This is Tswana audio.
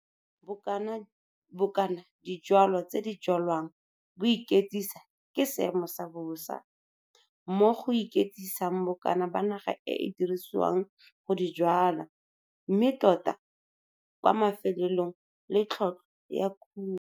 Bokana dijwalwa tse di jwalwang bo iketsisa ke seemo sa bosa, mo go iketsisang bokana ba naga e e dirisiwang go di jwala mme tota kwa mafelelong le tlhotlhwa ya kumo.